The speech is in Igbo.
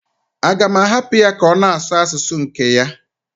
A ga-ahapụ ya ka ọ na-asụ asụsụ nke ya?